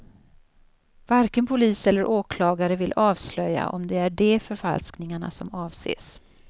Varken polis eller åklagare vill avslöja om det är de förfalskningarna som avses.